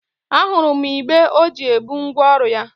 A hụrụ m igbé ọ ji ebu ngwa ọrụ ya.